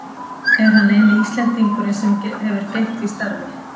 Er hann eini Íslendingurinn sem hefur gegnt því starfi.